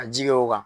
Ka ji kɛ o kan